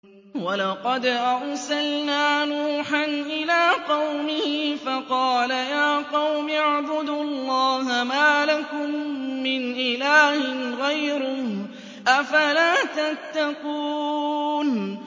وَلَقَدْ أَرْسَلْنَا نُوحًا إِلَىٰ قَوْمِهِ فَقَالَ يَا قَوْمِ اعْبُدُوا اللَّهَ مَا لَكُم مِّنْ إِلَٰهٍ غَيْرُهُ ۖ أَفَلَا تَتَّقُونَ